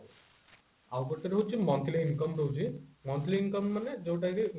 ଆଉ ଗୋଟେ ରହୁଛି monthly income ରହୁଛି monthly income ମାନେ ଯୋଉଟା କି